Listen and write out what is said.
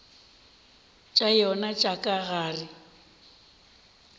tša yona tša ka gare